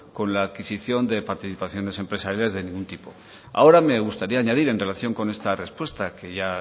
con la adquisición de participaciones empresariales de ningún tipo ahora me gustaría añadir en relación con esta respuesta que ya